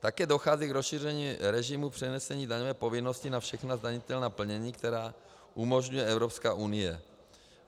Také dochází k rozšíření režimu přenesení daňové povinnosti na všechna zdanitelná plnění, která umožňuje Evropské unie.